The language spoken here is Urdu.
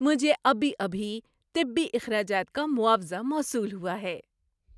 مجھے ابھی ابھی طبی اخراجات کا معاوضہ موصول ہوا ہے۔